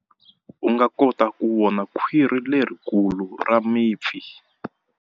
U nga kota ku vona khwiri lerikulu ra mipfi.